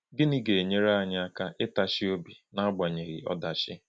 Gịnị ga-enyere anyị aka ịtachi obi n’agbanyeghị ọdachi?